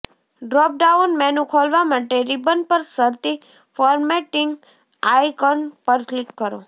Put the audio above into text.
drop down menu ખોલવા માટે ribbon પર શરતી ફોર્મેટિંગ આયકન પર ક્લિક કરો